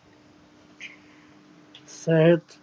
ਸੱਚ